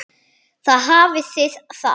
Þar hafið þið það!